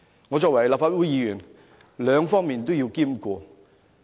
我身為立法會議員，兩方面也要兼顧。